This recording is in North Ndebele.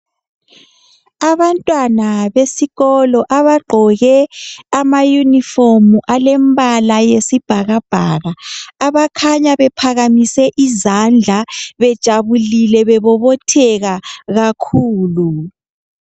Abantwana besikolo abagqoke amayunifomu , alembala yesibhakabhaka . Abakhanya bephakamise izandla , bejabulile bebobotheka kakhulu.